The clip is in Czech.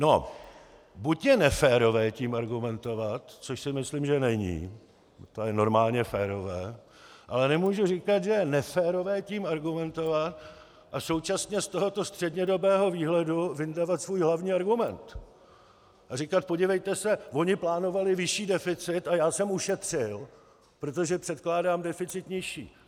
No, buď je neférové tím argumentovat, což si myslím, že není, to je normálně férové, ale nemůžu říkat, že je neférové tím argumentovat a současně z tohoto střednědobého výhledu vyndavat svůj hlavní argument a říkat: Podívejte se, oni plánovali vyšší deficit a já jsem ušetřil, protože předkládám deficit nižší.